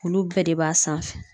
Olu bɛɛ de b'a sanfɛ